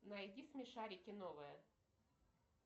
найди смешарики новое